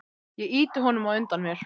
Ég ýti honum á undan mér.